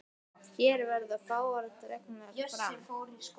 Hér verða fáar dregnar fram.